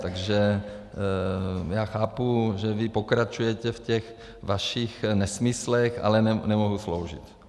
Takže já chápu, že vy pokračujete v těch vašich nesmyslech, ale nemohu sloužit.